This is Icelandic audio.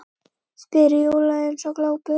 spyr Júlía eins og glópur.